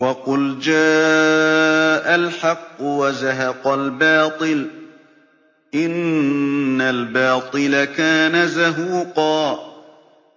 وَقُلْ جَاءَ الْحَقُّ وَزَهَقَ الْبَاطِلُ ۚ إِنَّ الْبَاطِلَ كَانَ زَهُوقًا